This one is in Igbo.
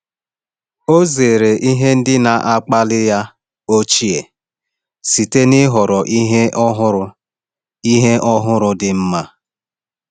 Ọ zere ihe ndị na-akpali ya ochie site n’ịhọrọ ihe ọhụrụ ihe ọhụrụ dị mma.